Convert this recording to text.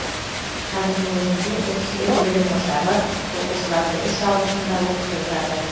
қазірдің өзінде отыз сегіз білім ошағы оқушыларды үш ауысымда оқытып жатыр